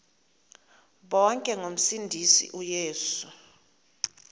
bonke ngomsindisi uyesu